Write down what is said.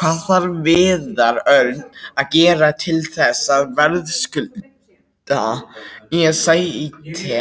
Hvað þarf Viðar Örn að gera til þess að verðskulda sæti